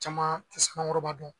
Caman tɛ Sanankɔrɔba dɔn